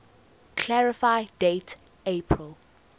clarify date april